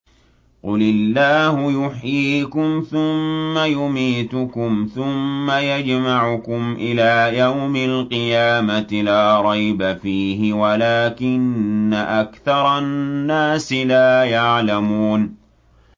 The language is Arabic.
قُلِ اللَّهُ يُحْيِيكُمْ ثُمَّ يُمِيتُكُمْ ثُمَّ يَجْمَعُكُمْ إِلَىٰ يَوْمِ الْقِيَامَةِ لَا رَيْبَ فِيهِ وَلَٰكِنَّ أَكْثَرَ النَّاسِ لَا يَعْلَمُونَ